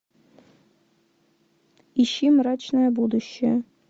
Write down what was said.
ищи мрачное будущее